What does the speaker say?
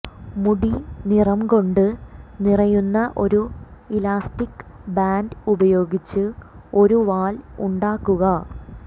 മുടി നിറം കൊണ്ട് നിറയുന്ന ഒരു ഇലാസ്റ്റിക് ബാൻഡ് ഉപയോഗിച്ച് ഒരു വാൽ ഉണ്ടാക്കുക